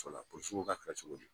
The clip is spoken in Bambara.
polosiw ko ka kɛra cogo di.